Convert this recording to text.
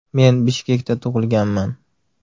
Men Bishkekda tug‘ilganman.